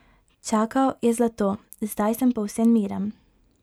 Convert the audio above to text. Čakal je zlato: 'Zdaj sem povsem miren.